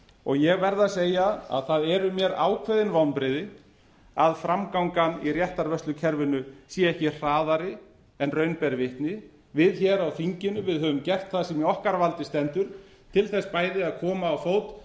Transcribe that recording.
og ég verð að segja að það eru mér ákveðin vonbrigði að framgangan í réttarvörslukerfinu sé ekki hraðari en raun ber vitni við hér á þinginu höfum gert það sem í okkar valdi stendur til þess bæði að koma á fót